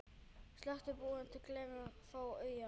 Stöku búð gleður þó augað.